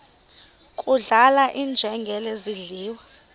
kudlala iinjengele zidliwa